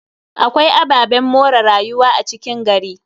Akwai ababen more rayuwa a cikin gari.